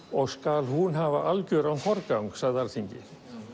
og skal hún hafa algjöran forgang sagði Alþingi